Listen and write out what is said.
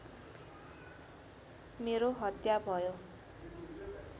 मेरो हत्या भयो